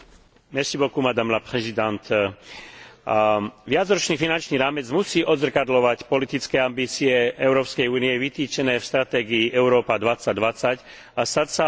Viacročný finančný rámec musí odzrkadľovať politické ambície Európskej únie vytýčené v stratégii Európa 2020 a stať sa odpoveďou na očakávania občanov Európskej únie.